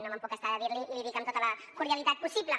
no me’n puc estar de dir l’hi i l’hi dic amb tota la cordialitat possible